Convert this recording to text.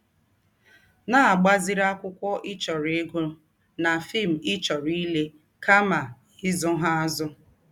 Na - agbaziri akwụkwọ ị chọrọ ịgụ na fim ị chọrọ ịle kama ịzụ ha azụ. *